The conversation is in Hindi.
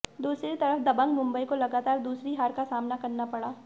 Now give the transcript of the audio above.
दूसरी तरफ दबंग मुंबई को लगातार दूसरी हार का सामना करना पड़ा